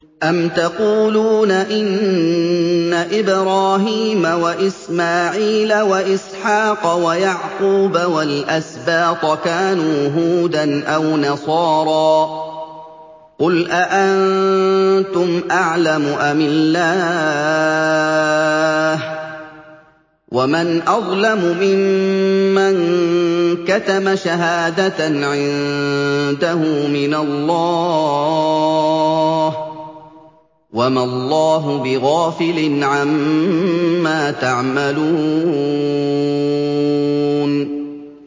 أَمْ تَقُولُونَ إِنَّ إِبْرَاهِيمَ وَإِسْمَاعِيلَ وَإِسْحَاقَ وَيَعْقُوبَ وَالْأَسْبَاطَ كَانُوا هُودًا أَوْ نَصَارَىٰ ۗ قُلْ أَأَنتُمْ أَعْلَمُ أَمِ اللَّهُ ۗ وَمَنْ أَظْلَمُ مِمَّن كَتَمَ شَهَادَةً عِندَهُ مِنَ اللَّهِ ۗ وَمَا اللَّهُ بِغَافِلٍ عَمَّا تَعْمَلُونَ